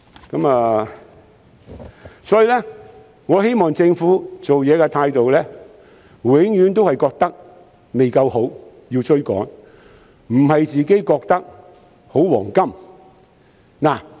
因此，我希望政府的做事態度永遠也覺得未夠好、要追趕，而不是覺得處於"黃金時代"。